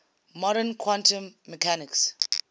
modern quantum mechanics